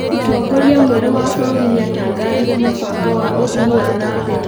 Mũtongoria mwerũ wa bũrũri nĩatangathire mũbango wa ũthii wa nambere